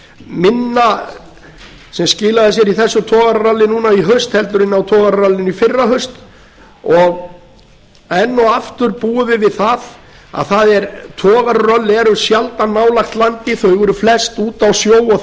minna sem skilaði sér í þessu togararalli núna i haust en á togararallinu í fyrrahaust enn og aftur búum við við það að togararöll eru sjaldan nálægt landi þau eru flest úti á sjó og